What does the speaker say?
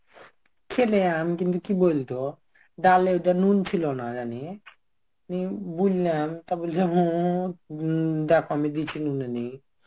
খেলে আমি কিন্তু কি বলতো, ডালে ওটা নুন ছিল না জানিস. আমি বুললাম. তা বলছে হম দেখো আমি দিয়েছি নুনে .